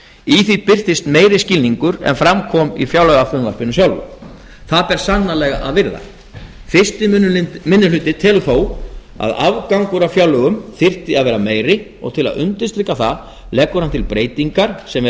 í því birtist meiri skilningur en fram kom í fjárlagafrumvarpinu sjálfu það ber sannarlega að virða fyrsti minnihluti telur þó að afgangur af fjárlögum þyrfti að vera meiri og til að undirstrika það leggur hann til breytingar sem ef